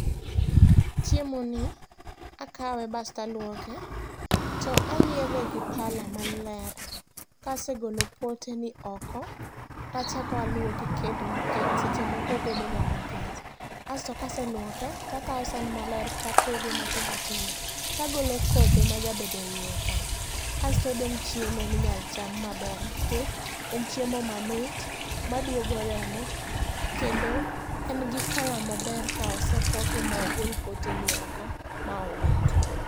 Chiemoni, akawe bas taluoke to ayiedhe gi pala maler. Kase golo poteni oko, tachako aluoke kendo nikech seche moko obedoga makech. Asto kase luoke, takawo san maler tapoge matindo tindo, tagolo kothe majabedo eiye ka. Astodong' chiemo minyalo cham maber, nikech en chiemo mamit maduogo remo kendo en gi colour maber ka ose poke ma ogol poteni oko, ma owiti.